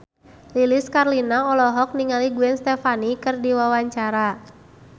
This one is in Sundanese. Lilis Karlina olohok ningali Gwen Stefani keur diwawancara